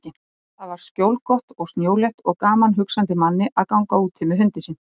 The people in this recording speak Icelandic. Þar var skjólgott og snjólétt og gaman hugsandi manni að ganga úti með hundinn sinn.